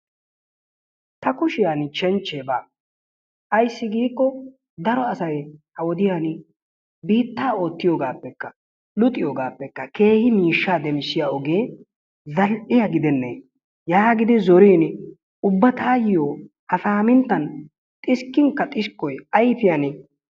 ta kushiyaan shenchche baa ayssi giiko daro asay ha wodiyaan biittaa oottiyoogappekka, luxiyoogappekka keehi miishsha demmissiya ogee zal''iya gidenne yaagidi zoriin ubba taayyo ha saaminttan xiskkinkka xiskkoy ayfiyan ...